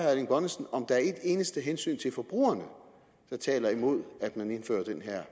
erling bonnesen om der er et eneste hensyn til forbrugerne der taler imod at man indfører den her